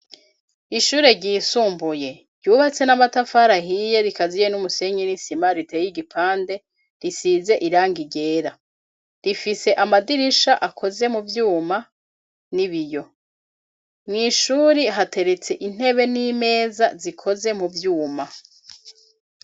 Ishure ryisumbuye ryubatse n'amatafarahiye rikaziye n'umusenye n'isima riteye igipande risize iranga irera rifise amadirisha akoze mu vyuma n'i biyo mw'ishuri hateretse intebe n'imeza zikoze mu vyuma.